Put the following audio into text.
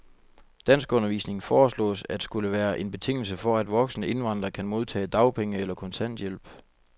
Danskundervisning foreslås at skulle være en betingelse for, at voksne indvandrere kan modtage dagpenge eller kontanthjælp.